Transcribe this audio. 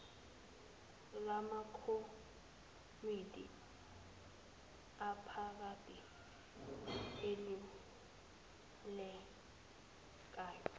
lamakomidi aphakade elulekayo